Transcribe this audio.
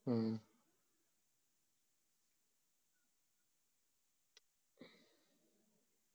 ഉം